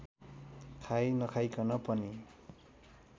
खाई नखाइकन पनि